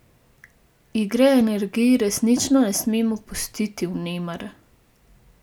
Igre energij resnično ne smemo pustiti vnemar.